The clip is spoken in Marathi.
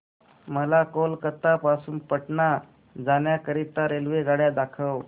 मला कोलकता पासून पटणा जाण्या करीता रेल्वेगाड्या दाखवा